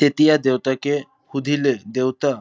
তেতিয়া দেউতাকে সুধিলে, দেউতা